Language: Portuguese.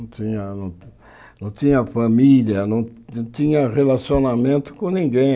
Não tinha não tinha família, não tinha relacionamento com ninguém.